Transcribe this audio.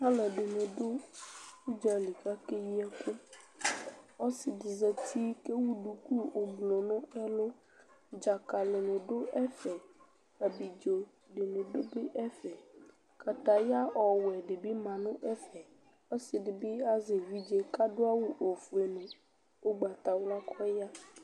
Alʋɛdɩnɩ dʋ ʋdza li kʋ akeyi ɛkʋ Ɔsɩ dɩ zati kʋ ewu duku oblʋ nʋ ɛlʋ Dzakalɩnɩ dʋ ɛfɛ, abidzo dɩnɩ dʋ bɩ ɛfɛ Kataya ɔwɛ dɩ bɩ ma nʋ ɛfɛ Ɔsɩ dɩ bɩ azɛ evidze kʋ adʋ awʋ ofue nʋ ʋgbatawla kʋ ɔya